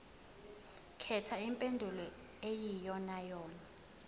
khetha impendulo eyiyonayona